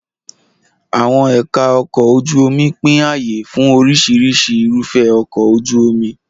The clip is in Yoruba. Àwọn ẹ̀ka ọkọ̀ ojú omi pín ààyè fún oríṣiríṣi irúfẹ́ ọkọ̀ ojú omi.